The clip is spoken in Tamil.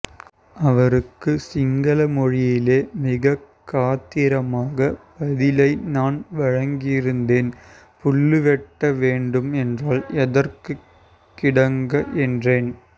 அவருக்கு சிங்கள மொழியிலே மிக காத்திரமாக பதிலை நான் வழங்கியிருந்தேன் புல்லு வெட்ட வேண்டும் என்றால் எதற்கு கிடங்கு என்றேன்